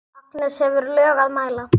Agnes hefur lög að mæla.